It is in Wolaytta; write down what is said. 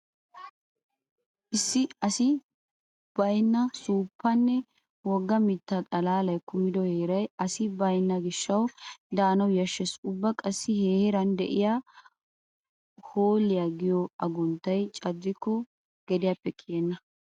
Issi issi asi baynna suuppanne wogga mitta xalaalay kumido heeray asi baynna gishshawu daanawu yashshees. Ubba qassi he heeran de'iya hoolliya giyo agunttay caddikko gediyappe kiyenna.